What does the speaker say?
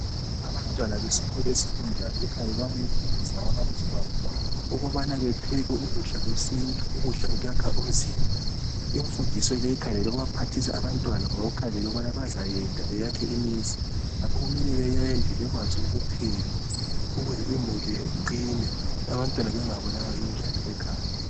Abantwana besikolo sesecondary bakhangelele ukubana befundiswe ngababalisi babo ukubana bepheke ukudla kwesintu ukudla okwakha umzimba imfundiso le ikhangelelwe ukuphathisa abantwana ngoba kukhangelele ukubana bazayenda beyakhe imizi ngakho kumele beyende bekwazi ukupheka ukuze umuli iqine abantwana bengabulawa yindlala ekhaya.